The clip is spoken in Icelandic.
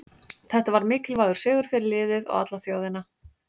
Þetta var mikilvægur sigur fyrir liðið og alla þjóðina.